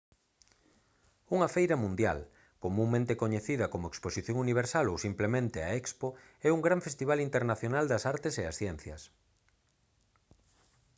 unha feira mundial comunmente coñecida como exposición universal ou simplemente a expo é un gran festival internacional das artes e as ciencias